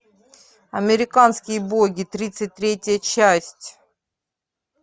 американские боги тридцать третья часть